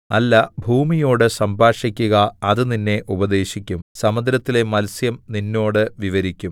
അല്ല ഭൂമിയോട് സംഭാഷിക്കുക അത് നിന്നെ ഉപദേശിക്കും സമുദ്രത്തിലെ മത്സ്യം നിന്നോട് വിവരിക്കും